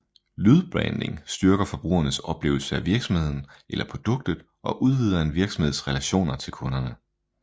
Lydbranding styrker forbrugernes oplevelse af virksomheden eller produktet og udvider en virksomheds relationer til kunderne